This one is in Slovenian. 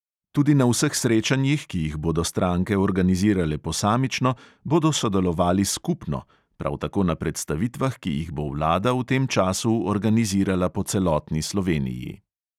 Tudi na vseh srečanjih, ki jih bodo stranke organizirale posamično, bodo sodelovali skupno, prav tako na predstavitvah, ki jih bo vlada v tem času organizirala po celotni sloveniji.